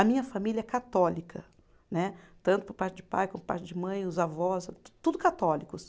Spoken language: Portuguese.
A minha família é católica né, tanto por parte de pai, como por parte de mãe, os avós, tudo católicos.